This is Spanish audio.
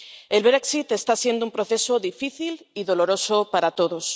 El Brexit está siendo un proceso difícil y doloroso para todos.